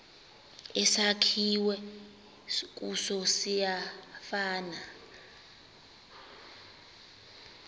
esakhiwe kuso siyafana